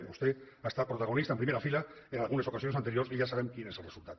i vostè ha estat protagonista en primera fila en algunes ocasions anteriors i ja sabem quin és el resultat